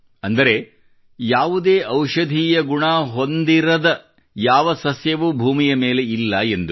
ಅಂದರೆ ಯಾವುದಾದರೊಂದು ಔಷಧೀಯ ಗುಣ ಹೊಂದಿರದ ಯಾವುದೇ ಸಸ್ಯ ಭೂಮಿಯ ಮೇಲೆ ಇಲ್ಲ ಎಂದು